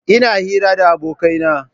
Ina hira da abokaina.